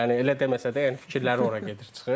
Yəni elə deməsə də, yəni fikirləri ora gedib çıxır.